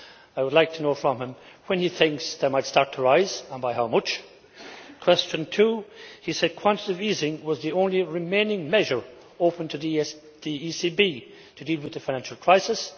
I would like to know from him when he thinks they might start to rise and by how much? Question two he said that quantitative easing was the only remaining measure open to the ECB to deal with the financial crisis.